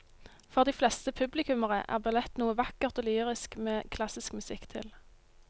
For de fleste publikummere er ballett noe vakkert og lyrisk med klassisk musikk til.